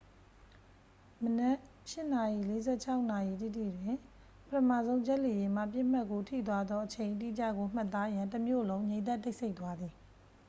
မနက် 8:46 နာရီတိတိတွင် ပထမဆုံးဂျက်လေယာဉ်မှ ပစ်မှတ်ကို ထိသွားသော အချိန်အတိကျကို မှတ်သားရန် တမြို့လုံး ငြိမ်သက်တိတ်ဆိတ်သွားသည်